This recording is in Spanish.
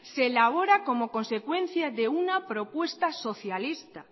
se elabora como consecuencia